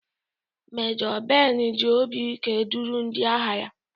Mejo Ben ji obi ike duru ndị agha ya.